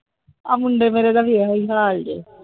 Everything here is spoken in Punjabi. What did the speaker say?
ਆਹ ਮੁੰਡੇ ਮੇਰੇ ਦਾ ਵੀ ਇਹੋ ਹਾਲ ਜੇ।